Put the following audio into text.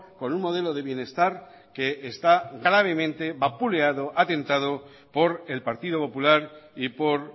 con un modelo de bienestar que está gravemente vapuleado atentado por el partido popular y por